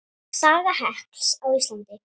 Saga hekls á Íslandi